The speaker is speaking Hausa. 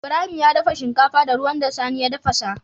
Ibrahim ya dafa shinkafa da ruwan da sani ya tafasa